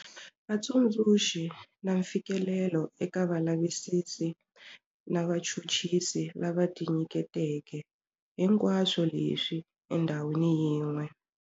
Vutsundzuxi, na mfikelelo eka valavisisi na vachuchisi lava tinyiketeke, hinkwaswo leswi endhawini yin'we.